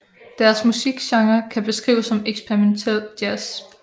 Deres musikgenre kan beskrives som experimentel jazz